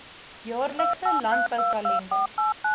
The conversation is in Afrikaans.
jaarlikse landbou kalender